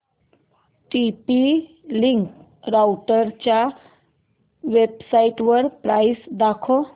TP Link राउटरच्या वेबसाइटवर price दाखव